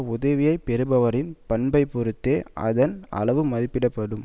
உதவியை பெறுபவரின் பண்பைப் பொருத்தே அதன் அளவு மதிப்பிட படும்